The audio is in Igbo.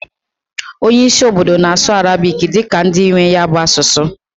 Onye isi obodo na-asụ arabiki dika ndị nwee ya bụ asụsụ